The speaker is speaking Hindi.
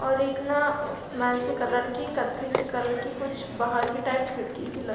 और एक ना अ मेस्सी कलर की कथै सी कलर की कुछ बाहर की टाइप खिड़की से लट --